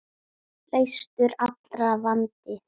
Leystur allra vandi.